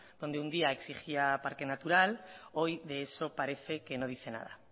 donde un día exigía parque natural hoy de eso parece que no dice nada